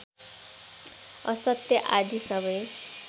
असत्य आदि सबै